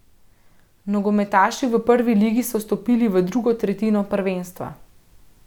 Nogometaši v prvi ligi so vstopili v drugo tretjino prvenstva.